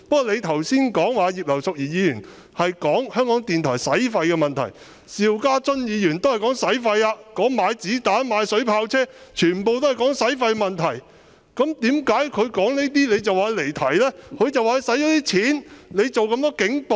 你剛才提到葉劉淑儀議員談及香港電台的開支問題，邵家臻議員提及購置子彈、水炮車，同樣涉及開支問題，為何你會認為他離題？